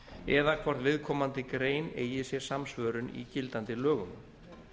eða hvort viðkomandi grein eigi sér samsvörun í gildandi lögum